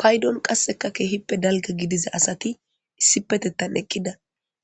paydon qasseka keehippe dalga gidiza asati issipetettan eqqida